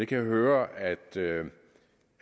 kan høre at